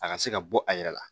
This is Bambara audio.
A ka se ka bɔ a yɛrɛ la